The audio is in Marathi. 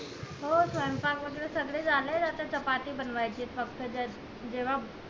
हो स्वयपांक वैगेरे सगळं झालय आता चपाती बनवायची ये फक्त जेव्हा